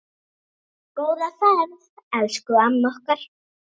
Góða ferð, elsku amma okkar.